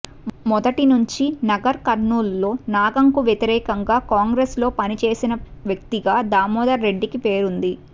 మొదటి నుండి నగర్ కర్నూల్ లో నాగంకు వ్యతిరేకంగా కాంగ్రెస్ లో పనిచేసిన వ్యక్తిగా దామోదర్ రెడ్డికి పేరుంది